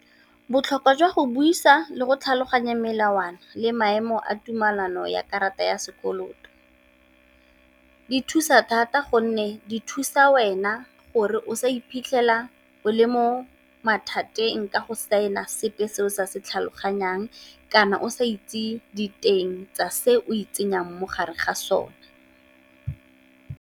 Botlhokwa jwa go buisa le go tlhaloganya melawana le maemo a tumelano ya karata ya sekoloto, di thusa thata gonne di thusa wena gore o sa iphitlhela o le mo mathateng ka go saena sepe se o sa se tlhaloganyang, kana o sa itse diteng tsa se o itsenya mo gare ga sone.